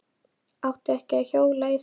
Átti ekki að hjóla í þá.